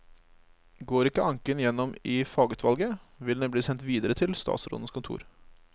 Går ikke anken gjennom i fagutvalget, vil den bli sendt videre til statsrådens kontor.